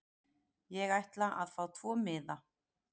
Ég ætla að fá tvo miða.